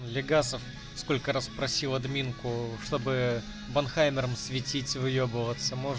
легасов сколько раз просил админку чтобы банхаймером светить выебываться мож